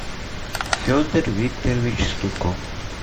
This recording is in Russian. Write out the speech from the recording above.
федор викторович стуков